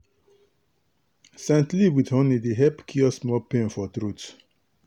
scent leaf with honey dey help cure small pain for throat.